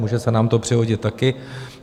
Může se nám to přihodit také.